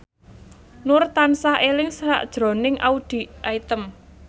Nur tansah eling sakjroning Audy Item